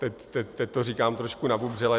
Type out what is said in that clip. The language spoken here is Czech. Teď to říkám trošku nabubřele.